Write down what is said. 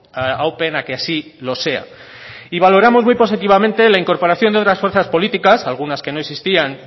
aúpen a que así lo sea y valoramos muy positivamente la incorporación de otras fuerzas políticas algunas que no existían